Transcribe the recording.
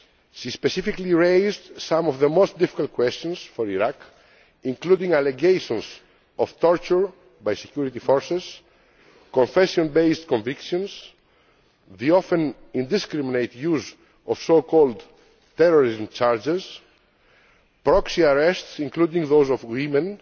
She specifically raised some of the most difficult questions for Iraq, including allegations of torture by security forces, confession based convictions, the often indiscriminate use of so called terrorism charges', proxy arrests, including those of women,